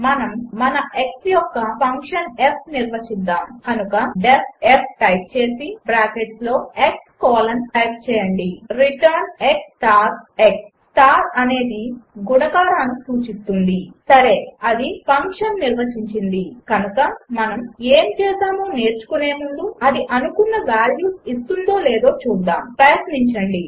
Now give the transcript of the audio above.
మనము మన x యొక్క ఫంక్షన్ f నిర్వచిద్దాము కనుక డీఇఎఫ్ f టైప్ చేసి బ్రాకెట్స్ లో x కోలన్ టైప్ చేయండి return x star x star అనేది గుణాకారాన్ని సూచిస్తుంది సరే అది ఫంక్షన్ నిర్వచించింది కనుక మనము ఏమి చేసామో నేర్చుకునే ముందు అది అనుకున్న వాల్యూస్ ఇస్తుందో లేదో చూద్దాము ప్రయత్నించండి